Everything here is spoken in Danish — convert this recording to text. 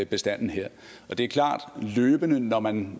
bestanden her er det er klart at man når man